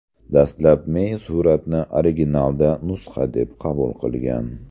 Dastlab Mey suratni originalda nusxa deb qabul qilgan.